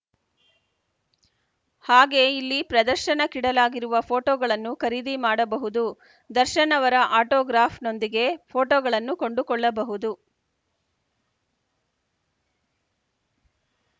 ಹಾಗೆ ಇಲ್ಲಿ ಪ್ರದರ್ಶನಕ್ಕಿಡಲಾಗಿರುವ ಫೋಟೋಗಳನ್ನು ಖರೀದಿ ಮಾಡಬಹುದು ದರ್ಶನ್‌ ಅವರ ಆಟೋಗ್ರಾಫ್‌ನೊಂದಿಗೆ ಫೋಟೋಗಳನ್ನೂ ಕೊಂಡುಕೊಳ್ಳಬಹುದು